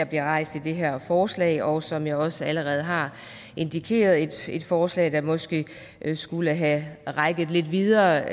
bliver rejst i det her forslag og som jeg også allerede har indikeret et forslag der måske skulle have rakt lidt videre